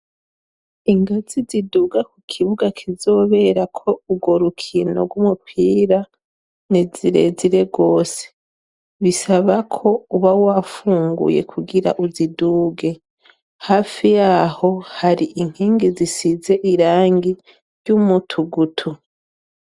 Ingazi ziduga ku kibuga kizoberako urwo rukino rw'umupira ni zirezire gose, bisaba ko uba wafunguye kugira uziduge. Hafi y'aho hari inkingi zisize irangi ry'umutugutu.